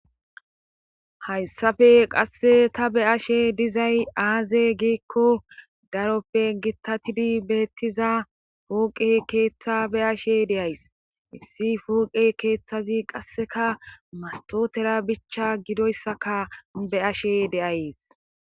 Hayssafe qasse ta be ashe dizay aaze giikko daroppe gitatidi beettiza pooqe keeththa be ashe deyays misi pooqe keeththazi qasseka mastotera bicha gidoyssaka be ashe deayees